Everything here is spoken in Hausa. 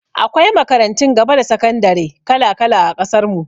Akwai makarantun gaba da sakandare kala-kala a ƙasar mu.